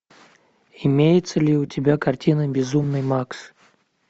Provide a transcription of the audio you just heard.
имеется ли у тебя картина безумный макс